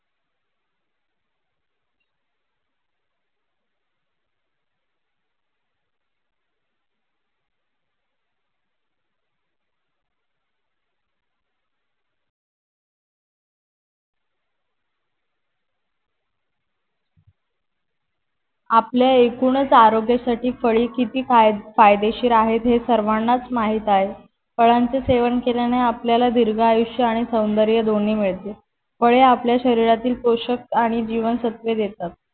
आपल्या एकूणच आरोग्यासाठी फळे किती फायदेशीर आहेत हे सर्वांनाच माहीत आहे फळाण चे सेवन केल्याने आपल्याला दीर्घायुष्य आणि सौंदर्य दोणी मिळते. फळे आपल्या शरीरातील पोशक आणि जीवनसत्वे देतात